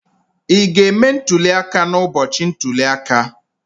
Ị ga-eme ntuli aka n'ụbọchị ntuli aka?